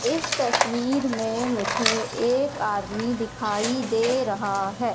इस तस्वीर में मुझे एक आदमी दिखाई दे रहा है।